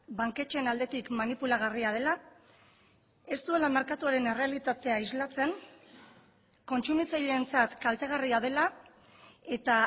banketxeen aldetik manipulagarria dela ez duela merkatuaren errealitatea islatzen kontsumitzaileentzat kaltegarria dela eta